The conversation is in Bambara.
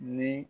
Ni